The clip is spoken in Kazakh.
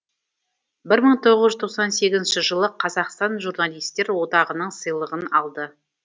бір мың тоғыз жүз тоқсан сегізінші жылы қазақстан журналистер одағының сыйлығын алды